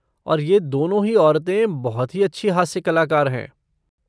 और ये दोनों ही औरतें, बहुत ही अच्छी हास्य कलाकार हैं।